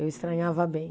Eu estranhava bem.